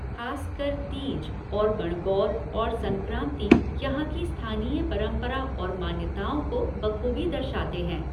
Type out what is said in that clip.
खासकर तीज और गणगौर और संक्रांति यहाँ की स्थानीय परंपरा और मान्यताओं को बखूबी दर्शाते हैं।